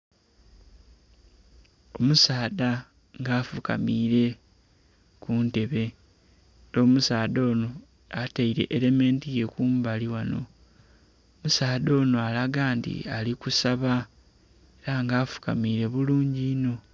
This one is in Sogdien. Omusaadha nga afukamiire kuntebe, omusaadha ono ataire erementi ye kumbali ghano, omusaadha ono alaga nti ali kusaba nga afukamire bulungi inho.